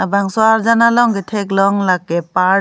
bangso arjan along katheklong lake park .